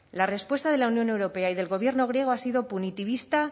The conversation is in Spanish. la respuesta de la unión europea y del gobierno griego ha sido punitivista